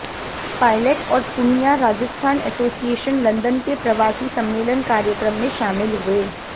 pilot और Poonia Rajasthan association London के प्रवासी सम्मेलन कार्यक्रम में शामिल हुए